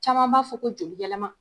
Caman b'a fɔ ko joli yɛlɛma